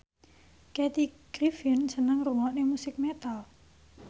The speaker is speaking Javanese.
Kathy Griffin seneng ngrungokne musik metal